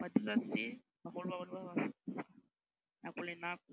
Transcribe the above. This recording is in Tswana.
ba dira se bagolo ba bone ba nako le nako.